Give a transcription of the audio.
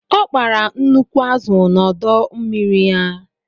O kpara nnukwu azụ n'ọdọ mmiri ya.